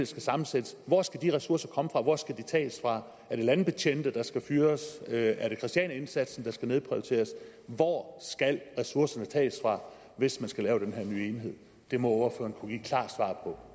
skal sammensættes hvor skal de ressourcer komme fra hvor skal de tages fra er det landbetjente der skal fyres er det christianiaindsatsen der skal nedprioriteres hvor skal ressourcerne tages fra hvis man skal lave den her nye enhed det må